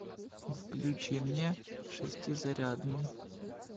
включи мне шестизарядный